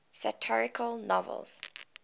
satirical novels